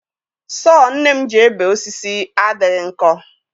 Sọọ nne m ji ebe osisi adịghị nkọ.